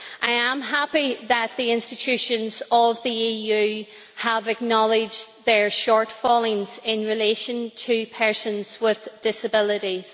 I am happy that the institutions of the EU have acknowledged their shortcomings in relation to persons with disabilities.